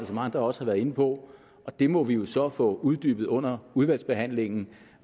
som andre også har været inde på og det må vi jo så få uddybet under udvalgsbehandlingen